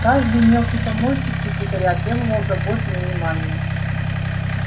каждый мелкий помощник секретаря требовал заботы и внимания